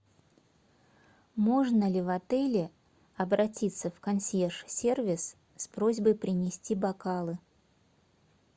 можно ли в отеле обратиться в консьерж сервис с просьбой принести бокалы